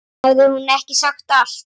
Hafði hún ekki sagt allt?